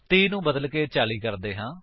30 ਨੂੰ ਬਦਲਕੇ 40 ਕਰਦੇ ਹਾਂ